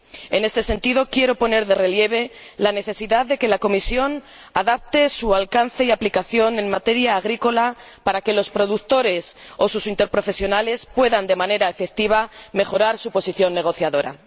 En este sentido, quiero poner de relieve la necesidad de que la Comisión adapte su alcance y aplicación en materia agrícola para que los productores o sus organizaciones interprofesionales puedan de manera efectiva mejorar su posición negociadora.